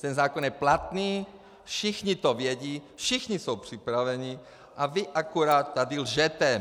Ten zákon je platný, všichni to vědí, všichni jsou připraveni - a vy akorát tady lžete!